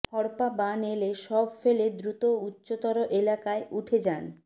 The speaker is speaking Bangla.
হড়পা বান এলে সব ফেলে দ্রুত উঁচ্চতর এলাকায় উঠে যান